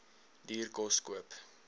duur kos koop